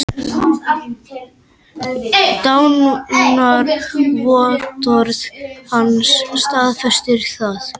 Dánarvottorð hans staðfestir það.